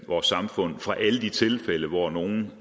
vores samfund fra alle de tilfælde hvor nogle